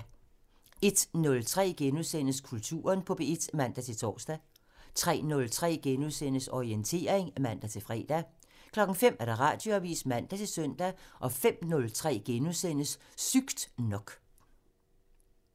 01:03: Kulturen på P1 *(man-tor) 03:03: Orientering *(man-fre) 05:00: Radioavisen (man-søn) 05:03: Sygt nok *(man)